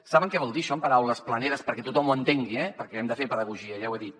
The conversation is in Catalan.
saben què vol dir això en paraules planeres perquè tothom ho entengui eh perquè hem de fer pedagogia ja ho he dit